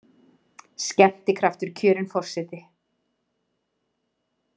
Skemmtikraftur kjörinn forseti